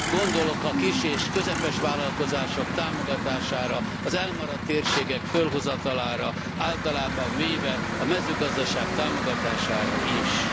Gondolok a kis és közepes vállalkozások támogatására, az elmaradt térségek fölhozatalára, általában véve a mezőgazdaság támogatására is.